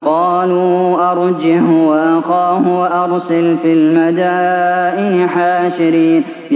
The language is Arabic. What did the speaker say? قَالُوا أَرْجِهْ وَأَخَاهُ وَأَرْسِلْ فِي الْمَدَائِنِ حَاشِرِينَ